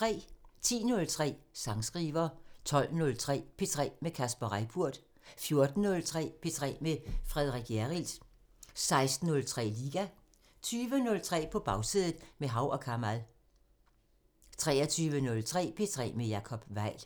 10:03: Sangskriver 12:03: P3 med Kasper Reippurt 14:03: P3 med Frederik Hjerrild 16:03: Liga 20:03: På Bagsædet – med Hav & Kamal 23:03: P3 med Jacob Weil